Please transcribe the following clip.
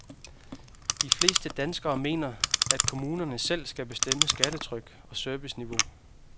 De fleste danskere mener, at kommunerne selv skal bestemme skattetryk og serviceniveau.